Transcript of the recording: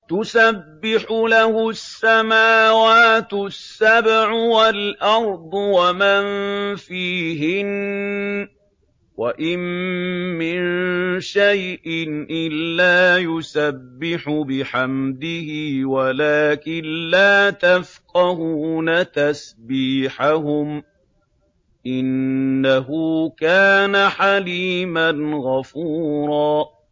تُسَبِّحُ لَهُ السَّمَاوَاتُ السَّبْعُ وَالْأَرْضُ وَمَن فِيهِنَّ ۚ وَإِن مِّن شَيْءٍ إِلَّا يُسَبِّحُ بِحَمْدِهِ وَلَٰكِن لَّا تَفْقَهُونَ تَسْبِيحَهُمْ ۗ إِنَّهُ كَانَ حَلِيمًا غَفُورًا